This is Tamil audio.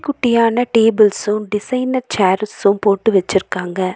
குட்டியான டேபிள்ஸ்சு டிசைனர் சேர்சு போட்டு வெச்சிருக்காங்க.